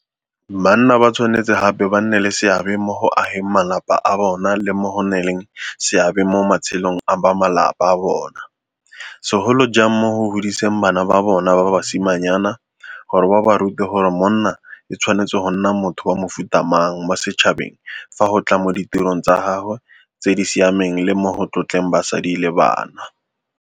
Banna ba tshwanetse gape ba nne le seabe mo go ageng malapa a bona le mo go nneng le seabe mo matshelong a bamalapa a bona, segolo jang mo go godiseng bana ba bona ba basimanyana, gore ba ba rute gore monna e tshwanetse go nna motho wa mofuta mang mo setšhabeng fa go tla mo ditirong tsa gagwe tse di siameng le mo go tlotleng basadi le bana.